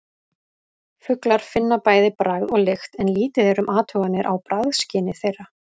Fuglar finna bæði bragð og lykt en lítið er um athuganir á bragðskyni þeirra.